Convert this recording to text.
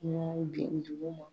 N y'a ben duguma